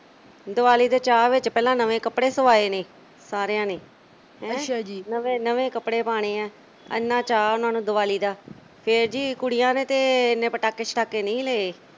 ਦੀਵਾਲੀ ਦੇ ਚਾਅ ਵਿੱਚ ਪਹਿਲਾਂ ਨਵੇਂ ਕੱਪੜੇ ਸਵਾਏ ਨੇ ਸਾਰਿਆਂ ਨੇ ਹੈਂ ਕਹਿੰਦੇ ਨਵੇਂ ਕੱਪੜੇ ਪਾਣੇ ਆਂ ਐਨਾ ਚਾਅ ਉਨ੍ਹਾਂ ਨੂੰ ਦਿਵਾਲੀ ਦਾ ਤੇ ਫਿਰ ਜੀ ਕੁੜੀਆਂ ਨੇ ਤੇ ਏਨੇ ਪਟਾਕੇ-ਛਟਾਕੇ ਨਹੀਂ ਲਏ